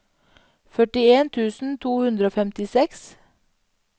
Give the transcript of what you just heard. førtien tusen to hundre og femtiseks